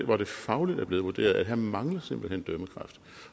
hvor det fagligt er blevet vurderet at her mangler simpelt hen dømmekraft